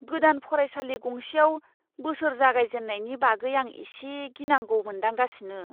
गोदान फरायसालि गंसेयाव बोसोर जागायजेननायनि बागै आं एसे गिनांगौ मोनदांगासिनो।